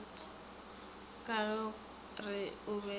ka go re o be